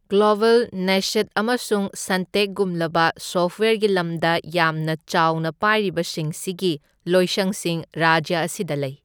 Global, ꯅꯦꯁꯠ ꯑꯃꯁꯨꯡ ꯁꯟꯇꯦꯛꯒꯨꯝꯂꯕ ꯁꯣꯐꯋꯦꯔꯒꯤ ꯂꯝꯗ ꯌꯥꯝꯅ ꯆꯥꯎꯅ ꯄꯥꯏꯔꯤꯕꯁꯤꯡꯁꯤꯒꯤ ꯂꯣꯏꯁꯪꯁꯤꯡ ꯔꯥꯖ꯭ꯌ ꯑꯁꯤꯗ ꯂꯩ꯫